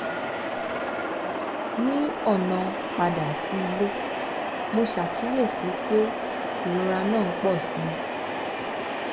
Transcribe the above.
ní ọ̀nà padà sí ilé mo ṣàkíyèsí pé ìrora náà ń pọ̀ sí i